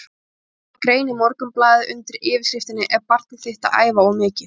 Hann ritaði grein í Morgunblaðið undir yfirskriftinni Er barnið þitt að æfa of mikið?